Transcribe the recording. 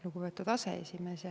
Lugupeetud aseesimees!